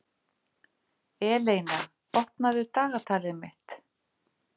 Eleina, opnaðu dagatalið mitt.